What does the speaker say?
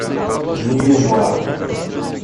нью бар